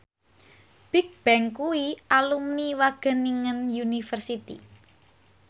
Bigbang kuwi alumni Wageningen University